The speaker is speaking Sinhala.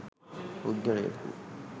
පුද්ගලයකු